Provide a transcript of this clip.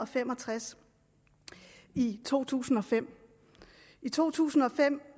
fem og tres i to tusind og fem i to tusind og fem